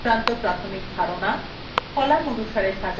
সূত্র সংক্রান্ত প্রাথমিক ধারণা